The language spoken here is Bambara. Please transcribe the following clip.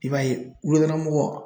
I b'a ye wulakɔnɔmɔgɔw